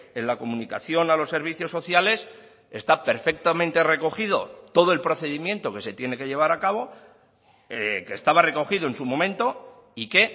en la comunicación a los servicios sociales está perfectamente recogido todo el procedimiento que se tiene que llevar a cabo que estaba recogido en su momento y que